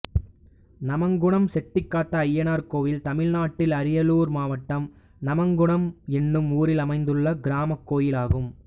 நமங்குணம் செட்டிக்காத்தஅய்யனார் கோயில் தமிழ்நாட்டில் அரியலூர் மாவட்டம் நமங்குணம் என்னும் ஊரில் அமைந்துள்ள கிராமக் கோயிலாகும்